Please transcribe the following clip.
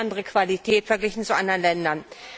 Das ist die andere Qualität, verglichen zu anderen Ländern.